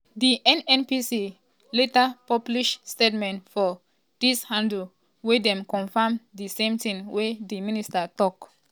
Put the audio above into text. di nnpc laterpublishstatement for diaxhandle wia dem confam di same tin wey di minister tok.